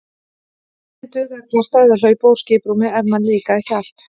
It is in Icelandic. Lítið dugði að kvarta eða hlaupa úr skiprúmi ef manni líkaði ekki allt.